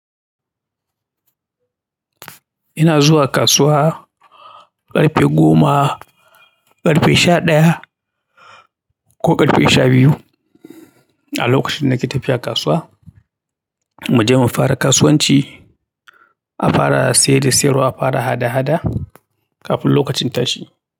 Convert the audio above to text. Ina zuwa kasuwa ƙarfe goma, ƙarfe sha ɗaya ko ƙarfe sha biyu a lokacin nake tafiya kasuwa. Mu je mu fara kasuwanci, a fara saye da siyarwa, a fara hada-hada kafin lokacin tashi.